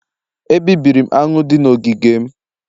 Ebibiri m aṅụ dị n'ogige m